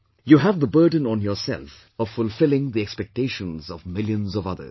You have the burden on yourself of fulfilling the expectations of millions of others